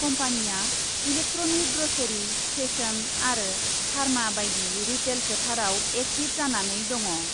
कम्पानिया electronic , grocery , fashion आरो pharma बायदि रिटेल फोथाराव एक्टिभ जानानै दङ ।।